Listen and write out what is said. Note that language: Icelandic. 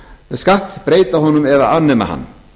skatt breyta honum eða afnema hann